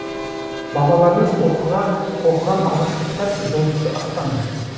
бабаларымыз оқыған алғашқы кітап жұлдызды аспан